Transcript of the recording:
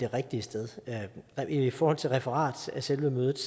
rigtige sted i forhold til referat af selve mødet